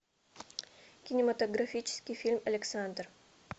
кинематографический фильм александр